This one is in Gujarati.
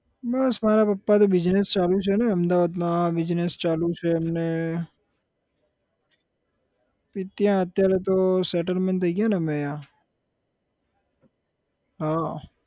બસ મારા પપ્પાનો business ચાલુ છેને અમદાવાદમાં business ચાલું છે એમને ત્યાં અત્યારે તો settlement થઇ ગયા ને અમે અહીંયા હા